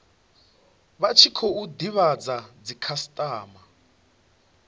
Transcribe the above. vha tshi khou divhadza dzikhasitama